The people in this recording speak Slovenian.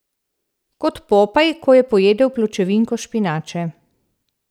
Kot Popaj, ko je pojedel pločevinko špinače.